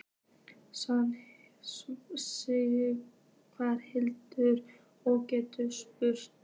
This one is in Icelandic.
Sighvatur: Og getur sungið?